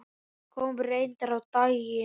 Það kom reyndar á daginn.